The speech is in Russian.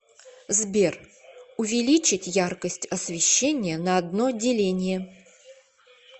сбер увеличить яркость освещения на одно деление